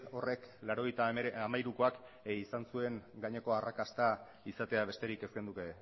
horrek laurogeita hamairukoak izan zuen adineko arrakasta izatea besterik ez genuke